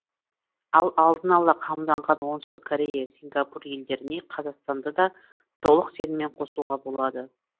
ал алдын ала қамданған оңтүстік корея сингапур елдеріне қазақстанды да толық сеніммен қосуға болады